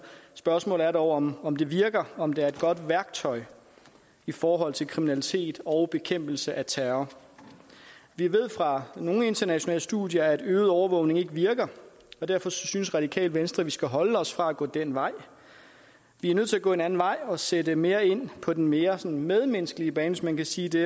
spørgsmålet er dog om om det virker og om det er et godt værktøj i forhold til kriminalitet og bekæmpelse af terror vi ved fra nogle internationale studier at øget overvågning ikke virker og derfor synes radikale venstre at vi skal holde os fra at gå den vej vi er nødt til at gå en anden vej og sætte mere ind på den mere sådan medmenneskelige bane hvis man kan sige det